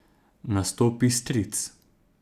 Nastopi stric.